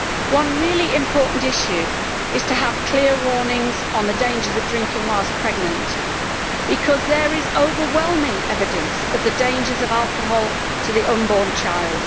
One really important issue is to have clear warnings on the dangers of drinking whilst pregnant, because there is overwhelming evidence of the dangers of alcohol to the unborn child.